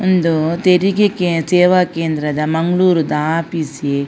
ಉಂದು ತೆರಿಗೆ ಕೆ ಸೇವ ಕೇಂದ್ರ ದ ಮಂಗಳೂರುದ ಆಪೀಸ್ ಯೆ.